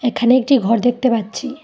এখানে একটি ঘর দেখতে পাচ্ছি।